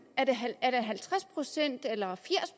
er det halvtreds procent eller firs